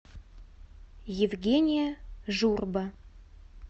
евгения журба